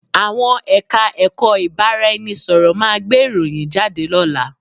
Àwọn Ẹ̀ka-ẹ̀kọ́ ìbárá-ẹni-sọ̀rọ̀ máa gbé ìròyìn jáde lọ́la